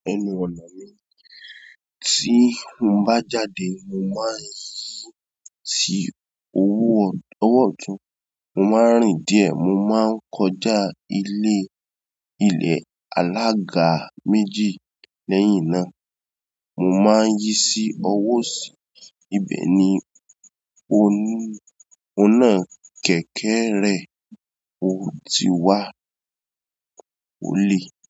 Ẹnu ọ̀nà mi, tí mo bá jáde mo máa ń yí sí owó, ọwọ́ ọ̀tún, mo máa ń rìn díẹ̀ mo máa ń kọjá ilé, ilẹ̀ alága méjì lẹ́yìn náà mo máa ń yí sí ọwọ́ òsì. Ibẹ̀ ni o ń, òun náà kẹ̀kẹ́ rẹ̀ ó ti wá ó lè.